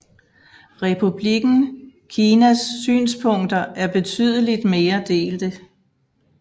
Republikken Kinas synspunkter er betydeligt mere delte